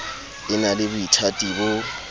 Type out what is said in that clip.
e na le boithati bo